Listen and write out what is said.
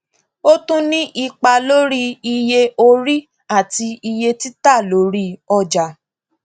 ó tún ní ipa lórí iye orí àti iye títà lórí ọjà